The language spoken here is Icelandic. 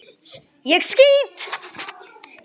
ÉG SKÝT!